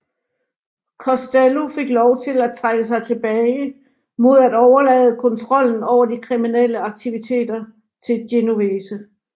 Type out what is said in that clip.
Costello fik lov til at trække sig tilbage mod at overlade kontrollen over de kriminelle aktivitet til Genovese